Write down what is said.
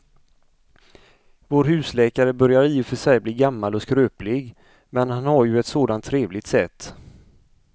Vår husläkare börjar i och för sig bli gammal och skröplig, men han har ju ett sådant trevligt sätt!